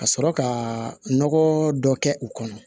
Ka sɔrɔ ka nɔgɔ dɔ kɛ u kɔnɔ